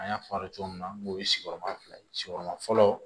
An y'a fɔ a ye cogo min na n k'o ye sigiyɔrɔma fila ye sigiyɔrɔma fɔlɔ